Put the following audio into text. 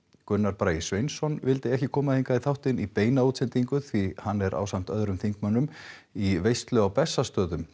Gunnar Bragi Sveinsson vildi ekki koma hingað í þáttinn í beina útsendingu því hann er ásamt öðrum þingmönnum í veislu á Bessastöðum